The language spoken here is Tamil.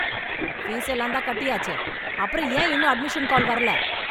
ஃபீஸ் எல்லாம் தான் கட்டியாச்சே அப்புறம் ஏன் இன்னும் அட்மிஷன் கால் வர்ல?